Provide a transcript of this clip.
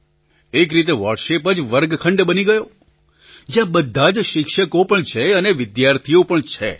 એક રીતે વૉટ્સએપ જ વર્ગખંડ બની ગયો જ્યાં બધા જ શિક્ષકો પણ છે અને વિદ્યાર્થીઓ પણ છે